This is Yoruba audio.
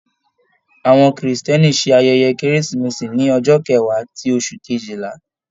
Àwọn Kírísítẹ́nì ṣe ayẹyẹ Keresimesi ní ọjọ́ kẹwa ti oṣù kejìlá.